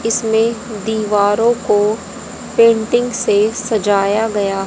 इसमें दीवारों को पेंटिंग से सजाया गया--